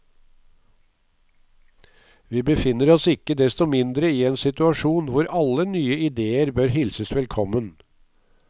Vi befinner oss ikke desto mindre i en situasjon hvor alle nye idéer bør hilses velkommen.